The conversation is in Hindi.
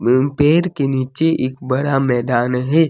उन पेड़ के नीचे एक बड़ा मैदान है।